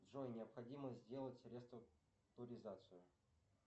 джой необходимо сделать реструктуризацию